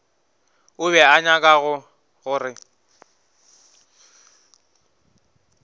o be a nyaka gore